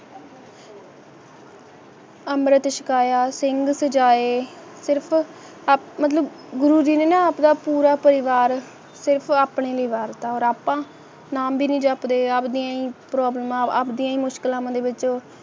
ਅੰਮ੍ਰਿਤ ਛਕਾਇਆ ਸਿੰਘ ਸਜਾਏ ਸਿਰਫ ਗੁਰੂ ਜੀ ਨੇ ਆਪਣਾ ਪੂਰਾ ਪਰਿਵਾਰ ਆਪਣੀ ਵਾਰਤਾਲਾਪ ਦੇਖੋ ਆਪਨੀ ਵਾਰਤਾਲਾਪਾਂ ਨਾਮ ਬਿਨਾ ਜੋ ਆਪਣੇ-ਆਪ ਹੀ ਪ੍ਰਮਾਤਮਾ ਪ੍ਰਤੀ ਮੁਸ਼ਕਲਾਂ ਲੈ